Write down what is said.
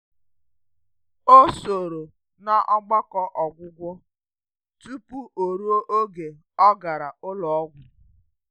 Ọ sòrò n’ọgbakọ ọgwụgwọ tupu oruo oge ọ gàrà ụlọ ọgwụ.